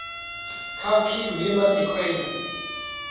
cauchy riemann equations